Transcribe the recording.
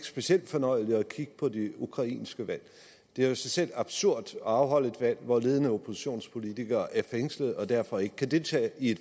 specielt fornøjeligt at kigge på det ukrainske valg det er i sig selv absurd at afholde et valg hvor ledende oppositionspolitikere er fængslet og derfor ikke kan deltage i